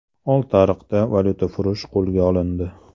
Oltiariqda valyutafurush qo‘lga olindi .